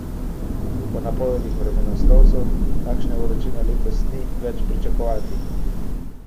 Po napovedih vremenoslovcev takšne vročine letos ni več pričakovati.